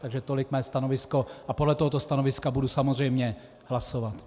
Takže tolik mé stanovisko a podle tohoto stanoviska budu samozřejmě hlasovat.